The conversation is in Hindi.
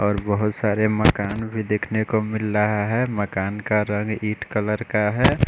और बहुत सारे मकान भी देख ने को मिल रहा है मकान का रंफ ईट कलर का है।